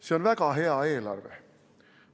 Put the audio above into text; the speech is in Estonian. See on väga hea eelarve.